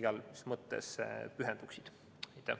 igas mõttes pühenduksid sellele tööle.